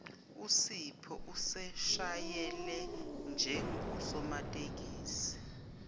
usipho useshayele njengosomatekisi